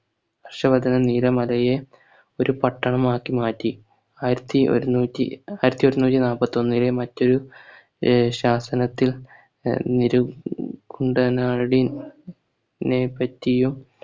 ഹർഷവർധനൻ നീലമലയെ ഒരു പട്ടണം ആക്കിമാറ്റി ആയിരത്തി ഒരുനുറ്റി ആയിരത്തി ഒരുനുറ്റി നാൽപത്തി ഒന്നിലെ മറ്റൊരു ശാസനത്തിൽ നിരും കുണ്ടനാടി നെ പറ്റിയും